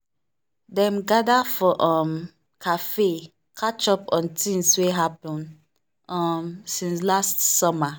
dem gather for um café catch up on tings wey happen um since last summer.